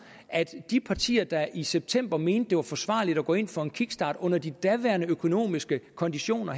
altså de partier der i september mente det var forsvarligt at gå ind for en kickstart under de daværende økonomiske konditioner